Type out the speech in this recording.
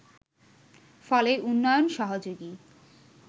ফলে উন্নয়ন সহযোগী